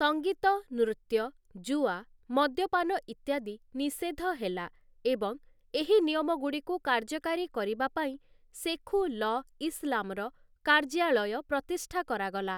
ସଂଗୀତ, ନୃତ୍ୟ, ଜୁଆ, ମଦ୍ୟପାନ ଇତ୍ୟାଦି ନିଷେଧ ହେଲା, ଏବଂ ଏହି ନିୟମଗୁଡ଼ିକୁ କାର୍ଯ୍ୟକାରୀ କରିବା ପାଇଁ ଶେଖୁ'ଲ ଇସଲାମର କାର୍ଯ୍ୟାଳୟ ପ୍ରତିଷ୍ଠା କରାଗଲା ।